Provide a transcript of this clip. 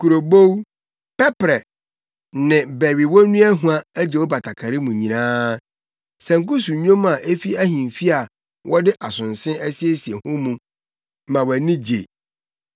Kurobow, pɛprɛ ne bɛwewonua hua agye wo batakari mu nyinaa; sanku so nnwom a efi ahemfi a wɔde asonse asiesie ho mu ma wʼani gye.